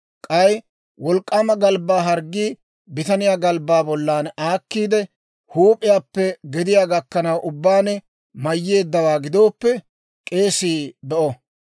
«K'ay wolk'k'aama galbbaa harggii bitaniyaa galbbaa bollan aakkiide, huup'iyaappe gediyaa gakkanaw ubbaan mayyeeddawaa gidooppe, k'eesii be'o.